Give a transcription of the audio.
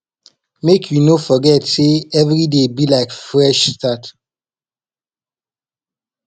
mek you no forget sey evriday be like fresh start